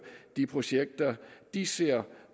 de projekter de ser